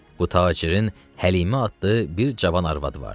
Bu tacirin Həlimə adlı bir cavan arvadı vardı.